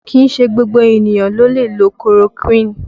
Kìí ṣe gbogbo ènìyàn ló lè lo korokuini